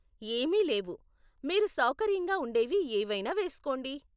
ఏమీ లేవు, మీరు సౌకర్యంగా ఉండేవి ఏవైనా వేస్కోండి!